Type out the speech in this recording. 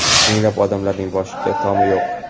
minglab odamlarning boshida tomi yo‘q.